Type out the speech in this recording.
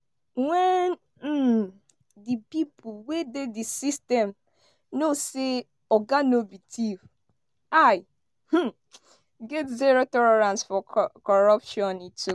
wen um di pipo wey dey di system know say oga no be thief i um get zero tolerance for corruption" e tok.